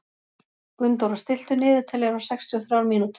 Gunndóra, stilltu niðurteljara á sextíu og þrjár mínútur.